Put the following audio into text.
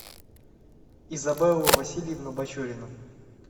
изабеллу васильевну бачурину